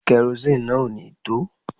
Kerosini náà ò ní tó